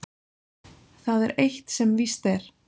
Það er eitt sem víst er.